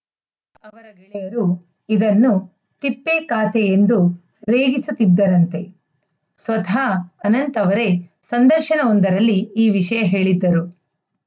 ಗೆಳೆಯರು ಇದನ್ನು ತಿಪ್ಪೆ ಖಾತೆ ಎಂದು ರೇಗಿಸುತ್ತಿದ್ದರಂತೆ ಸ್ವತಃ ಅನಂತ್‌ ಅವರೇ ಸಂದರ್ಶನವೊಂದರಲ್ಲಿ ಈ ವಿಷಯ ಹೇಳಿದ್ದರು